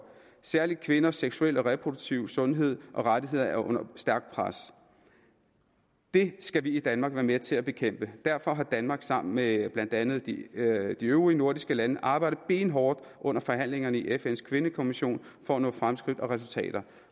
særlig kvinders seksuelle og reproduktive sundhed og rettigheder er under stærkt pres det skal vi i danmark være med til at bekæmpe og derfor har danmark sammen med blandt andet de øvrige de øvrige nordiske lande arbejdet benhårdt under forhandlingerne i fns kvindekommission for at nå fremskridt og resultater